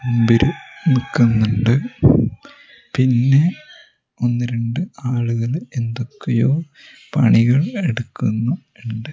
മുമ്പില് നിൽക്കുന്നുണ്ട് പിന്നെ ഒന്ന് രണ്ട് ആളുകൾ എന്തൊക്കെയോ പണികൾ എടുക്കുന്നു--